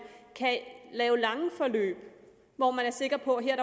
kan lave lange forløb hvor man er sikker på at her